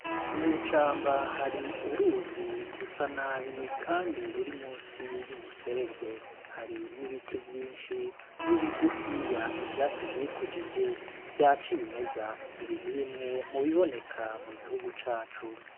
Ninicamba hari uruzi rusa nabi, kandi ruri musi y'umuserege hari n'ibiti vyinshi n'ibigufiya ivyatsi vyikujije vya ciye imeza ibinti bimwe mubiboneka mu gihugu cacu.